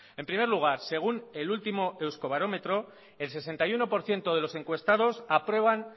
en primer lugar según el último euskobarometro el sesenta y uno por ciento de los encuestados aprueban